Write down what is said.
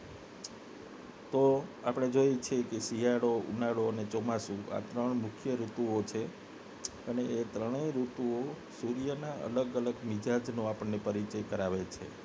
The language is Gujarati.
તો આપને જોઈએ છે કે શિયાળો ઉનાળો અને ચોમાસુ આ ત્રણ મુખ્ય ઋતુઓ છે એ ત્રણે ઋતુઓ સૂર્ય ના અલગ અલગ મિજાજનો આપણને પરિચય કરાવે છે